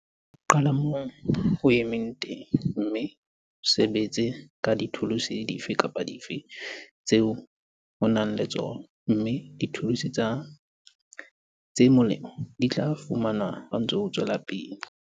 Qala moo o emeng teng, mme o sebetse ka dithuluse dife kapa dife tseo o nang le tsona, mme dithuluse tse molemo di tla fumanwa ha o ntse o tswela pele.